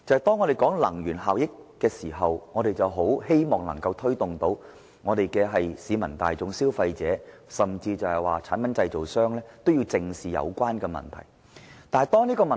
當我們討論能源效益時，我們很希望推動市民大眾、消費者，以至產品製造商都正視有關問題。